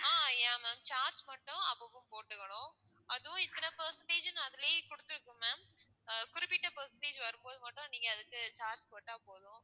ஆஹ் yeah ma'am charge மட்டும் அப்பப்போ போட்டுக்கணும் அதுவும் இத்தனை percentage ன்னு அதுலேயே குடுத்திருக்கும் ma'am ஆஹ் குறிப்பிட்ட percentage வரும் போது மட்டும் நீங்க அதுக்கு charge போட்டா போதும்.